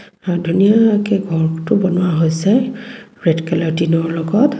আৰু ধুনীয়াকে ঘৰটো বনোৱা হৈছে ৰেড কালাৰ ৰ টিনৰ লগত.